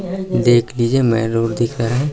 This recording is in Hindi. देख लीजिये मेन रोड दिख रहा है।